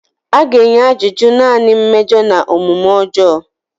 A ga-enye ajụjụ naanị mmejọ na omume ọjọọ.